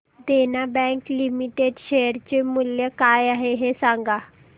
देना Bank Limited share चे मूल्य काय आहे हे सांगा